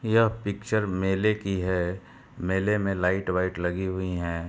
यह पिक्चर मेले की है। मेले में लाइट वाइट लगी हुई हैं।